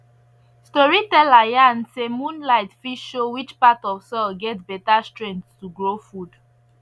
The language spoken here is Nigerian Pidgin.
storyteller yarn say moonlight fit show which part of soil get better strength to grow food